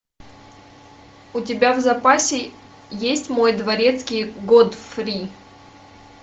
у тебя в запасе есть мой дворецкий годфри